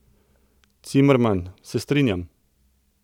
Cimerman: 'Se strinjam.